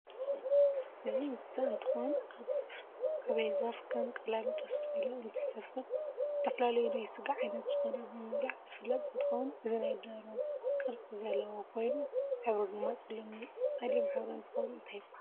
እዚ እንስሳ እንትኮን ኣብ ኣበይዛፍ ከም ቀላምጦስ ዝበለ እንትሰፍር ዝተፈላለዩ ናይ ስጋ ዓይነት ዝኮኑ ብምብላዕ ዝፍለጥ እንትከው እዚ ናይ ደሮ ቅርፅ ዘለዎ ኮይኑ ሕብሪ ድማ ፀልም ሕብሪ እንትከውን እንታይ ይብሃል?